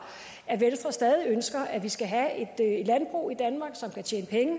at venstre stadig ønsker at vi skal have et landbrug i danmark